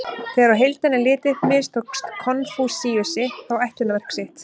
Þegar á heildina er litið mistókst Konfúsíusi þó ætlunarverk sitt.